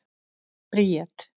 Bríet